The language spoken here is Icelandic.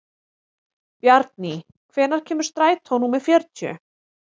Bjarný, hvenær kemur strætó númer fjörutíu?